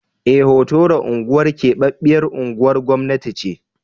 Eh, Hotoro unguwar keɓaɓɓyar unguwar gwamnati ce.